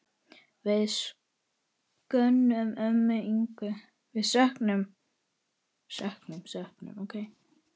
Við söknum ömmu Ingu.